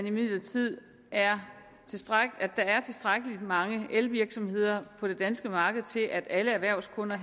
imidlertid at der er tilstrækkelig mange elvirksomheder på det danske marked til at alle erhvervsskunder